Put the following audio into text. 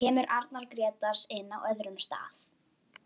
Kemur Arnar Grétars inn á öðrum stað?